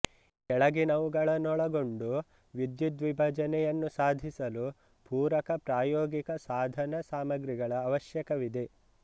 ಕೆಳಗಿನವುಗಳನ್ನೊಳಗೊಂಡು ವಿದ್ಯುದ್ವಿಭಜನೆಯನ್ನು ಸಾಧಿಸಲು ಪೂರಕ ಪ್ರಾಯೋಗಿಕ ಸಾಧಾನ ಸಾಮಗ್ರಿಗಳ ಅವ್ಯಶಕವಿದೆ